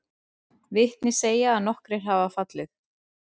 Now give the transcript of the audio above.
Vitni segja að nokkrir hafi fallið